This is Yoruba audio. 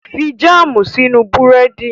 Fi jáàmù sínú Búrẹ́dì!